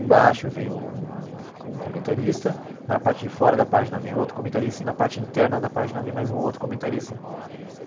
Embaixo vem um um comentarista, na parte de fora da página vem outro comentarista e na parte interna da página vem mais um outro comentarista.